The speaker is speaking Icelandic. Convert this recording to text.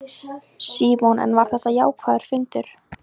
Símon: En var þetta jákvæður fundur?